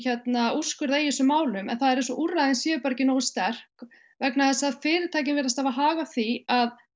úrskurða í þessum málum en það er eins og úrræðin séu ekki nógu sterk vegna þess að fyrirtækin virðast hafa hag á því að